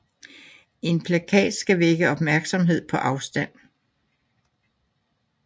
En plakat skal vække opmærksomhed på afstand